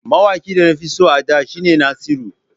Mawaƙin Hausa da nafi so a da shi ne Naziru.